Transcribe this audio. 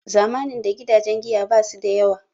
Zamanin da gidajen giya basu da yawa